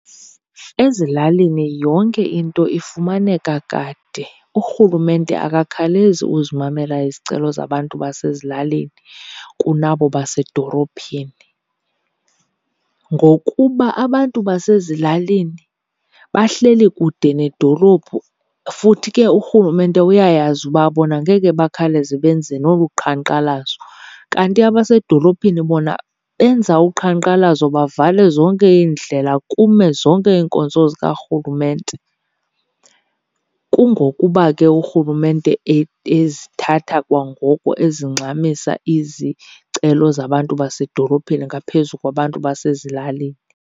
Ezilalini yonke into ifumaneka kade, urhulumente akakhalezi uzimamela izicelo zabantu basezilalini kunabo basedorophini, ngokuba abantu basezilalini bahleli kude nedolophu. Futhi ke urhulumente uyayazi uba bona ngeke bakhawuleze benze nolu qhankqalazo kanti abasedolophini bona benza uqhankqalazo bavale zonke iindlela kume zonke iinkonzo zikarhulumente. Kungokuba ke urhulumente ezithatha kwangoko, ezingxamisa izicelo zabantu basedolophini ngaphezu kwabantu basezilalini.